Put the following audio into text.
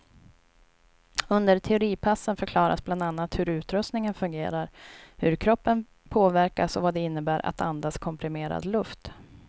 Under teoripassen förklaras bland annat hur utrustningen fungerar, hur kroppen påverkas och vad det innebär att andas komprimerad luft.